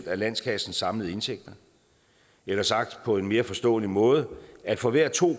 af landskassens samlede indtægter eller sagt på en mere forståelig måde for hver to